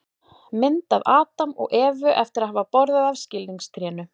Mynd af Adam og Evu eftir að hafa borðað af skilningstrénu.